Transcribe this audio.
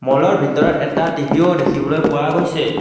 মলৰ ভিতৰত এটা টি_ভি ও দেখিবলৈ পোৱা গৈছে।